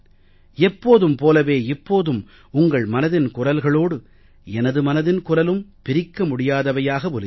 எப்போதும் போலவே இப்போதும் உங்கள் மனதின் குரல்களோடு எனது மனதின் குரலும் பிரிக்க முடியாதவையாக ஒலித்தன